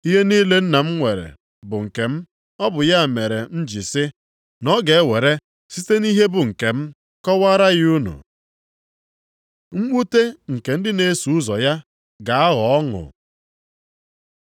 Ihe niile Nna nwere bụ nke m. Ọ bụ ya mere m ji sị, na ọ ga-ewere site nʼihe bụ nkem, kọwara ya unu. Mwute nke ndị na-eso ụzọ ya ga-aghọ ọnụ